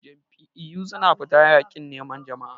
Jam'iyyu suna fita yakin neman jama'a.